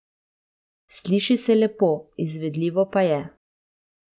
Sliši se lepo, izvedljivo pa je.